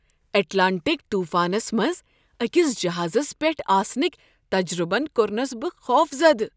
Atlantic طوفانس منٛز أکس جہازس پیٹھ آسنٕکۍ تجربن کوٚرنس بہٕ خوفزدہ۔